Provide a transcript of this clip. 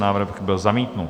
Návrh byl zamítnut.